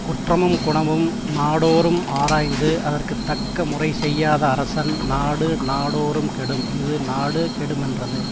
குற்றமும் குணமும் நாடோறும் ஆராய்ந்து அதற்கு தக்க முறை செய்யாத அரசன் நாடு நாடோறும் கெடும் இது நாடு கெடுமென்றது